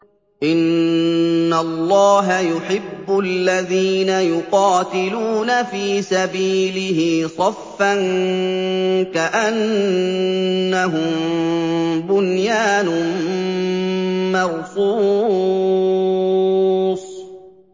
إِنَّ اللَّهَ يُحِبُّ الَّذِينَ يُقَاتِلُونَ فِي سَبِيلِهِ صَفًّا كَأَنَّهُم بُنْيَانٌ مَّرْصُوصٌ